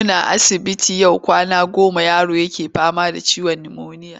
Muna asibiti yau kwana goma yaro yake fama da ciwon nimoniya.